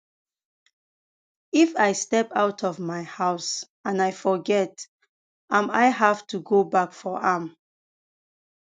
if i step out of my house and i forget am i have to go back for am